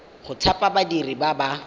go thapa badiri ba ba